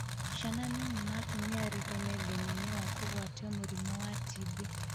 Ciana nini na atumia aritũ me thĩna-inĩ wa kũgwatio mũrimũ wa TB